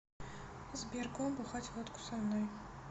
сбер го бухать водку со мной